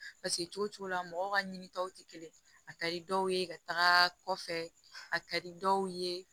Paseke cogo cogo la mɔgɔ ka ɲinitaw tɛ kelen a ka di dɔw ye ka taga kɔfɛ a ka di dɔw ye